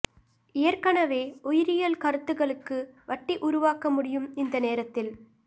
ஏற்கனவே உயிரியல் கருத்துகளுக்கு வட்டி உருவாக்க முடியும் இந்த நேரத்தில்